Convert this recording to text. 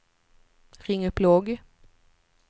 ring upp logg